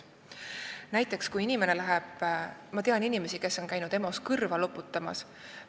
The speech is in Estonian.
Näiteks, ma tean inimesi, kes on käinud EMO-s kõrva loputamas.